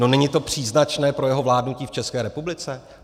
No, není to příznačné pro jeho vládnutí v České republice?